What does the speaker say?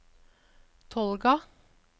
Tolga